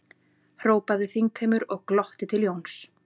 hrópaði þingheimur og glotti til Jóns.